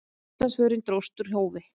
Íslandsförin dróst úr hófi.